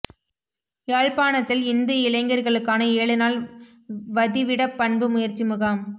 யாழ்ப்பாணத்தில் இந்து இளைஞர்களுக்கான ஏழு நாள் வதிவிடப் பண்புப் பயிற்சி முகாம்